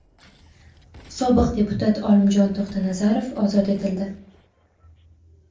Sobiq deputat Olimjon To‘xtanazarov ozod etildi.